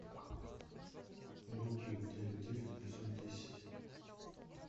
бруклин девять девять эпизод десять